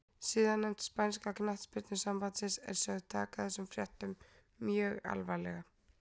Siðanefnd spænska knattspyrnusambandsins er sögð taka þessum fréttum mjög alvarlega.